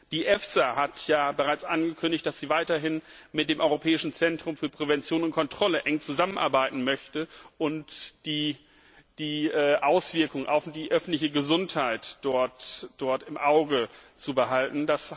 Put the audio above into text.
Die FSA hat ja bereits angekündigt, dass sie weiterhin mit dem Europäischen Zentrum für Prävention und Kontrolle eng zusammenarbeiten möchte, um die Auswirkungen auf die öffentliche Gesundheit im Auge zu behalten.